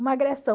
Uma agressão.